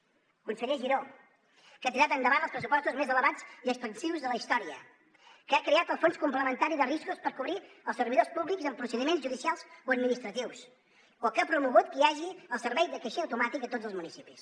el conseller giró que ha tirat endavant els pressupostos més elevats i expansius de la història que ha creat el fons complementari de riscos per cobrir els servidors públics en procediments judicials o administratius o que ha promogut que hi hagi el servei de caixer automàtic a tots els municipis